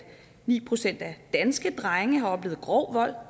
ni procent af danske drenge har oplevet grov vold